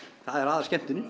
er